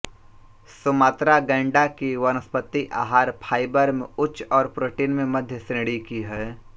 Sumatra गैंडा की वनस्पति आहार फाइबर में उच्च और प्रोटीन में मध्य श्रेणी की हैं